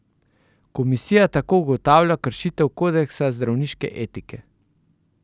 Komisija tako ugotavlja kršitev kodeksa zdravniške etike.